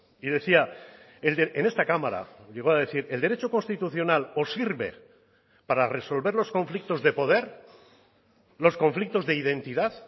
y decía en esta cámara llegó a decir el derecho constitucional o sirve para resolver los conflictos de poder los conflictos de identidad